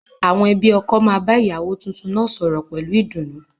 Àwọn ẹbí ọkọ máa bá ìyàwó tuntun náà sọ̀rọ̀ pẹ̀lú ìdùnnú